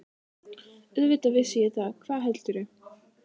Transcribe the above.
Auðvitað vissi ég það, hvað heldurðu!